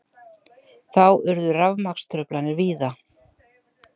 Þá urðu rafmagnstruflanir víða